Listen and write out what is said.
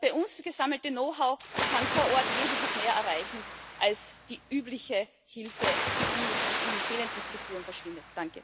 Das bei uns gesammelte Know how kann vor Ort wesentlich mehr erreichen als die übliche Hilfe, die in fehlenden Strukturen verschwindet.